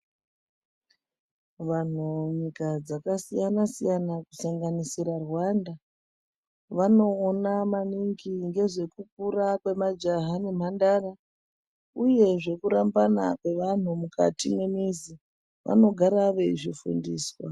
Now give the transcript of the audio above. Vanhu munyika dzakasiyana siyana kusanganisira Rwanda vanoona maningi ngezvekukura majaha nembandara uye nekurambana zvemukati memizi vamogara veizvifundiswa.